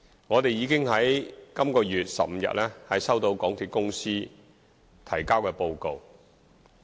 我們已經在本月15日收到港鐵公司提交的報告。